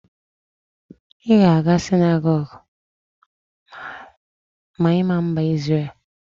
I ga aga sinagogu ma I ga Mba Isrel?